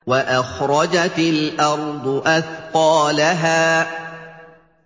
وَأَخْرَجَتِ الْأَرْضُ أَثْقَالَهَا